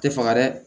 Tɛ faga dɛ